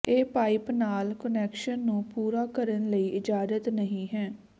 ਇਹ ਪਾਈਪ ਨਾਲ ਕੁਨੈਕਸ਼ਨ ਨੂੰ ਪੂਰਾ ਕਰਨ ਲਈ ਇਜਾਜ਼ਤ ਨਹੀ ਹੈ